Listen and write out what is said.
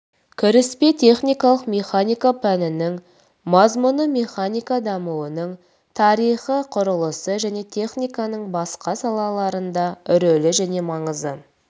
кіріспе техникалық механика пәнінің мазмұны механика дамуының тарихы құрылыс және техниканың басқа салаларында рөлі және маңызы